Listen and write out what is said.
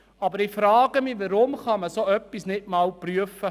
Aber weshalb kann man das Anliegen der Motion nicht einmal prüfen?